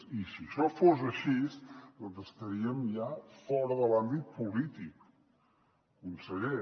i si això fos així estaríem ja fora de l’àmbit polític conseller